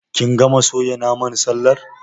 Kin gama soya naman sallar?